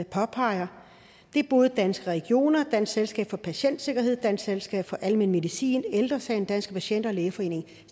påpeger det er både danske regioner dansk selskab for patientsikkerhed dansk selskab for almen medicin ældre sagen danske patienter og lægeforeningen